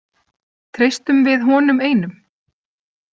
Treystum við honum einum?